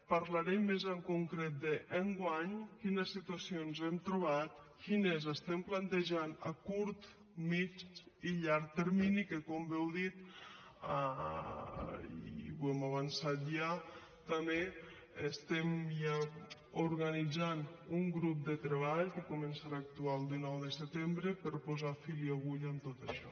parlaré més en concret de enguany quina situació ens hem trobat quines estem plantejant a curt mitjà i llarg termini que com bé heu dit i ho hem avançat ja també estem ja organitzant un grup de treball que començarà a actuar el dinou de setembre per posar fil a l’agulla en tot això